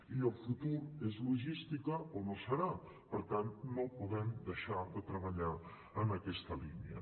i el futur és logística o no serà per tant no podem deixar de treballar en aquesta línia